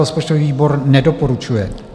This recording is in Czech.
Rozpočtový výbor nedoporučuje.